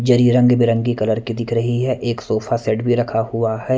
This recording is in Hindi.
जरी रंग बिरंगी कलर की दिख रही है एक सोफा सेट भी रखा हुआ है --